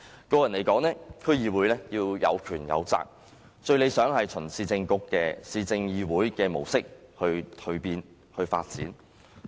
個人認為，區議會要有權有責，最理想是循市政議會的模式蛻變。